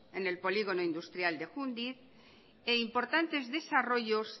en el polígono industrial de jundiz e importantes desarrollos